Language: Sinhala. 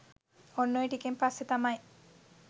ඔන්න ඔය ටිකෙන් පස්සේ තමයි